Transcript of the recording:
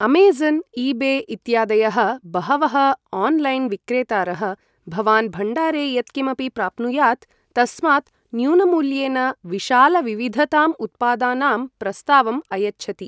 Amazon, eBay इत्यादयः बहवः ऑनलाइनविक्रेतारः, भवान् भण्डारे यत् किमपि प्राप्नुयात् तस्मात् न्यूनमूल्येन विशालविविधतां उत्पादानाम् प्रस्तावम् अयच्छति।